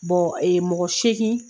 mɔgɔ segin